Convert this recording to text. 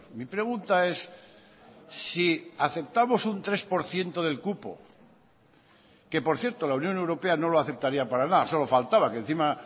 mi pregunta es si aceptamosun tres por ciento del cupo que por cierto la unión europea no lo aceptaría para nada solo faltaba que encima